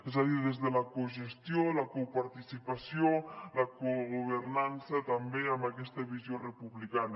és a dir des de la cogestió la coparticipació la cogovernança també amb aquesta visió republicana